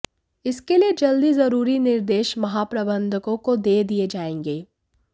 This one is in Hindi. इसके लिये जल्द ही जरूरी निर्देश महाप्रबंधकों को दे दिये जायेंगे